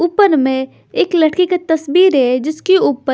ऊपर में एक लड़की की तस्वीर है जिसके ऊपर--